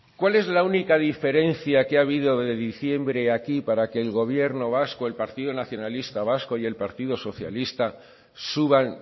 cuál es la única diferencia que ha habido de diciembre aquí para que el gobierno vasco el partido nacionalista vasco y el partido socialista suban